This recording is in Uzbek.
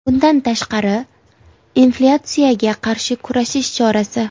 Bundan tashqari, bu inflyatsiyaga qarshi kurashish chorasi.